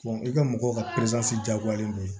i ka mɔgɔw ka diyagoyalen don